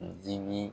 Dimi